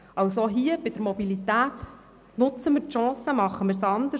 Also, nutzen wir die Chance bei der Mobilität und machen wir es anders.